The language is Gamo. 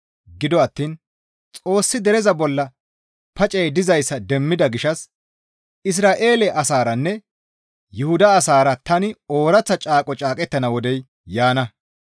Gido attiin Xoossi dereza bolla pacey dizayssa demmida gishshas, «Isra7eele asaaranne Yuhuda asaara tani ooraththa caaqo caaqettana wodey yaana.